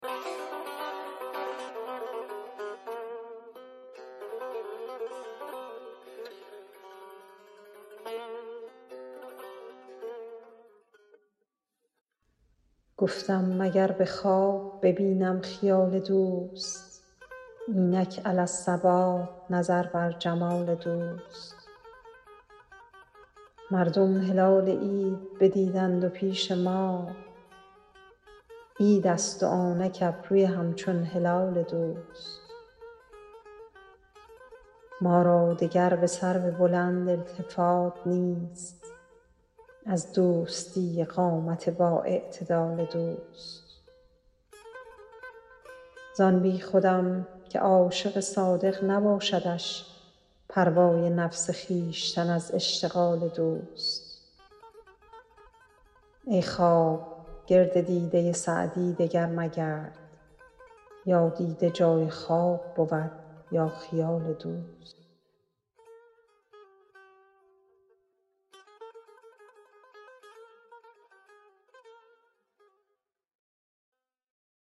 گفتم مگر به خواب ببینم خیال دوست اینک علی الصباح نظر بر جمال دوست مردم هلال عید ندیدند و پیش ما عیدست و آنک ابروی همچون هلال دوست ما را دگر به سرو بلند التفات نیست از دوستی قامت بااعتدال دوست زان بیخودم که عاشق صادق نباشدش پروای نفس خویشتن از اشتغال دوست ای خواب گرد دیده سعدی دگر مگرد یا دیده جای خواب بود یا خیال دوست